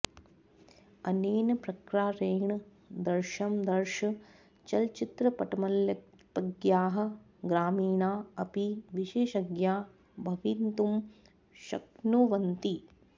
अनेन प्रकारेण दर्शं दर्श चलचित्रपटमल्पज्ञाः ग्रामीणा अपि विशेषज्ञा भवितुं शक्नुवन्ति